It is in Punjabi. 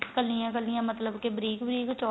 ਕਲੀਆਂ ਕਲੀਆਂ ਮਤਲਬ ਕੇ ਬਰੀਕ ਬਰੀਕ ਚੋਲਾ